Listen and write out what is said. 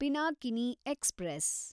Pinakini express